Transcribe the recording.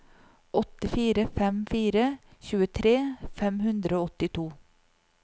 åtte fire fem fire tjuetre fem hundre og åttito